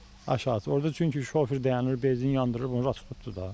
Aşağısı, orda çünki şofer dayanır, benzin yandırır, bunu tutdu da.